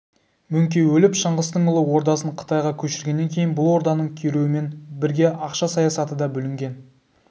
мөңке өліп шыңғыстың ұлы ордасын қытайға көшіргеннен кейін бұл орданың күйреуімен бірге ақша саясаты да бүлінген